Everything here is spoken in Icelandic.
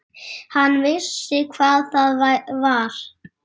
Hann vissi hvað það var.